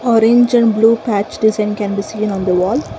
orange and blue patch design can be seen on the wall.